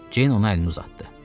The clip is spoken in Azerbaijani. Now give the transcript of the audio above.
Ceyn ona əlini uzatdı.